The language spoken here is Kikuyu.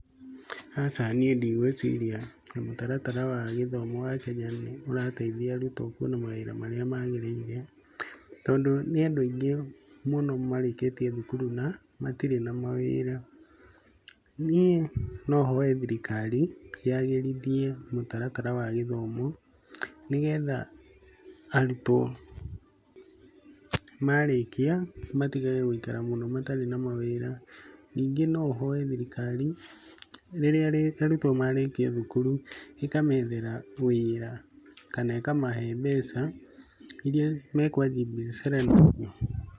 Aca niĩ ndigwĩciria mũtaratara wa gĩthomo wa Kenya nĩ ũrateithia arutwo kuona mawĩra marĩa magĩrĩire, tondũ nĩ andũ aingĩ mũno marĩkĩtie thukuru na matirĩ na mawĩra. Nĩ no hoe thirikari ya gĩrithie mũtaratara wa gĩthomo nĩgetha arutwo marĩkia matigage gũikara mũno matarĩ na mawĩra. Ningĩ no hoe thirikari rĩrĩa arutwo marĩkia thukuru ĩkamethera wĩra kana ĩkamahe mbeca iria mekwanjia biacara nacio.